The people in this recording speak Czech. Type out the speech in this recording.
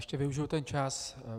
Ještě využiju ten čas.